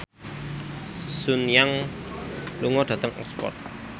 Sun Yang lunga dhateng Oxford